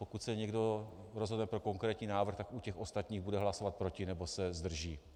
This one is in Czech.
Pokud se někdo rozhodne pro konkrétní návrh, tak u těch ostatních bude hlasovat proti nebo se zdrží.